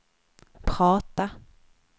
prata